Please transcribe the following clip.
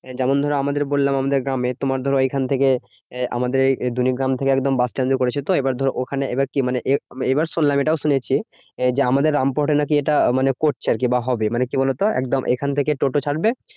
যেমন ধরো আমাদের বললাম আমাদের গ্রামে। তোমার ধরো এখন থেকে আহ আমাদের এই দলিগ্রাম থেকে একদম বাসস্ট্যান্ড এ করেছে তো? ওখানে এবার কি? মানে এবার শুনলাম এটাও শুনেছি যে, আমাদের রামপুরহাটে নাকি এটা মানে করছে আরকি। বা হবে মানে কি বলতো? একদম এখন থেকে টোটো ছাড়বে